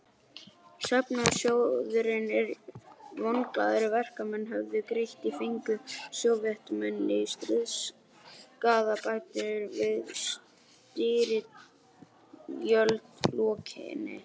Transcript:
Söfnunarsjóðinn sem vonglaðir verkamenn höfðu greitt í fengu Sovétmenn í stríðsskaðabætur að styrjöld lokinni.